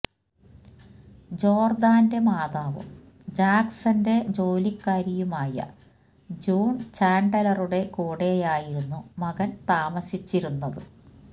ജോർദാന്റെ മാതാവും ജാക്സൺന്റെ ജോലിക്കാരിയുമായ ജൂൺ ചാൻഡലറുടെ കൂടെയായിരുന്നു മകൻ താമസിച്ചിരുന്നത്